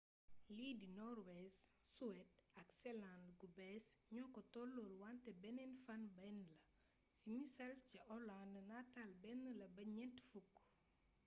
li de noorwees suweed ak seland-gu-bees ño ko tololle wante benneen fan benn la si missal ca olaand natal benn la ba ñent fukk